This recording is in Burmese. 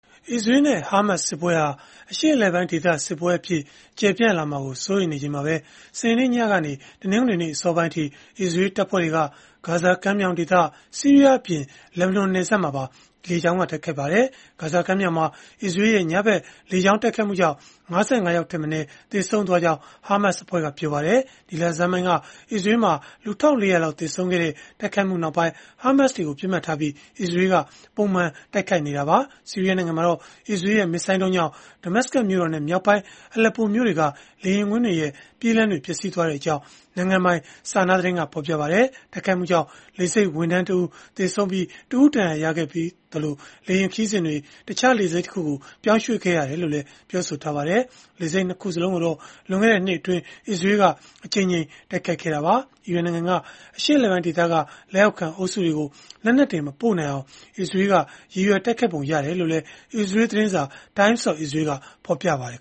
အစ္စရေးလ်နဲ့ ဟာမတ်စ်စစ်ပွဲဟာ အရှေ့အလယ်ပိုင်းဒေသ စစ်ပွဲအဖြစ် ကျယ်ပြန့်လာမှာကို စိုးရိမ်နေချိန် မှာပဲ စနေနေ့ညကနေ တနင်္ဂနွေနေ့ အစောပိုင်းအထိ အစ္စရေးလ်တပ်ဖွဲ့တွေက ဂါဇာမြှောင်ဒေသ၊ ဆီးရီးယားအပြင် လက်ဘနွန်နယ်စပ်မှာပါ တိုက်ခိုက်ခဲ့ပါတယ်။ ဂါဇာကမ်းမြှောင်မှာ အစ္စရေးလ်ရဲ့ ညဖက်လေကြောင်းတိုက်ခိုက်မှုကြောင့် ၅၅ ယောက်ထက်မနည်း သေဆုံးခဲ့ကြောင်း ဟာမတ်စ်အဖွဲ့က ပြောပါတယ်။ ဒီလဆန်းပိုင်းက အစ္စရေးလ်မှာ လူ ၁၄၀၀ လောက် သေဆုံးခဲ့တဲ့ တိုက်ခိုက်မှုနောက်ပိုင်း ဟာမတ်စ် တွေကို ပစ်မှတ်ထားပြီး အစ္စရေးလ်က ပုံမှန်တိုက်ခိုက်နေတာပါ။ ဆီးရီးယားနိုင်ငံမှာတော့ အစ္စရေးလ်ရဲ့ မစ်ဇိုင်းဒုံးတွေကြောင့် Damascus မြို့တော်နဲ့ မြောက်ပိုင်း Aleppo မြို့တွေက လေယာဉ်ကွင်းတွေရဲ့ ပြေးလမ်းတွေ ပျက်စီးသွားခဲ့ကြောင်း နိုင်ငံပိုင် SANA သတင်းက ဖော်ပြပါတယ်။ တိုက်ခိုက်မှုကြောင့် လေဆိပ်ဝန်ထမ်း ၁ ဦး သေဆုံး၊ ၁ ဦး ဒဏ်ရာရခဲ့ပြီး၊ လေယာဉ်ခရီးစဉ်တွေ တခြားလေဆိပ်တခုကို ပြောင်းရွှေ့ခဲ့ရကြောင်းလည်း ပြောပါတယ်။ လေဆိပ် ၂ ခုစလုံးကိုတော့ လွန်ခဲ့တဲ့နှစ်အတွင်း အစ္စရေးလ်က အကြိမ်ကြိမ် တိုက်ခိုက်ခဲ့တာပါ။ အီရန်နိုင်ငံက အရှေ့အလယ်ပိုင်းဒေသက လက်အောက်ခံ အုပ်စုတွေကို လက်နက်တွေ မပို့နိုင်အောင် အစ္စရေးလ်က ရည်ရွယ်ပုံရတယ်လို့လည်း အစ္စရေးလ်သတင်းစာ Times of Israel ကဖော်ပြပါတယ်